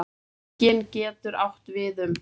Víkin getur átt við um